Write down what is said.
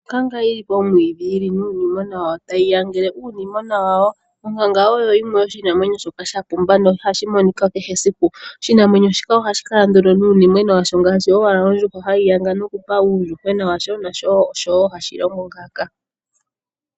Onkanga yili pomwiidhi yili nuunimwena wayo tayi yangele uunimona wayo. Onkanga oyo yimwe yoshinamwenyo shoka sha pumba no ihashi monika kehe esiku. Oshinamwenyo shika ohashi kala ndu o nuunimwena washo ngaashi owala ondjuhwa hayi yanga nokupa uuyuhwena wayo nasho oshowo hashi longo ngaaka.